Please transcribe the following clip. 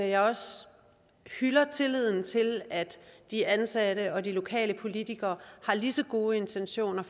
jeg også hylder tilliden til at de ansatte og de lokale politikere har lige så gode intentioner